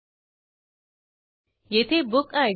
प्रथम रिक्वेस्ट द्वारे checkout attribute मिळेल